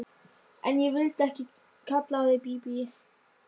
Síðdegis hafði svo þykknað upp en hangið þurrt.